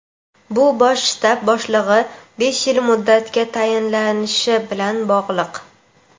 bu Bosh shtab boshlig‘i besh yil muddatga tayinlanishi bilan bog‘liq.